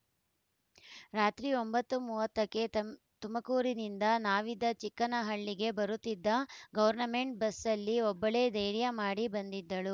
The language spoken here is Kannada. ರಾತ್ರಿ ಒಂಬತ್ತು ಮೂವತ್ತಕ್ಕೆ ತಂ ತುಮಕೂರಿನಿಂದ ನಾವಿದ್ದ ಚಿಕ್ಕನಹಳ್ಳಿಗೆ ಬರುತ್ತಿದ್ದ ಗೌರ್ನಮೆಂಟ್‌ ಬಸ್ನಲ್ಲಿ ಒಬ್ಬಳೇ ಧೈರ್ಯ ಮಾಡಿ ಬಂದಿದ್ದಳು